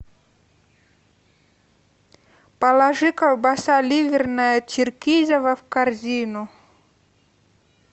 положи колбаса ливерная черкизово в корзину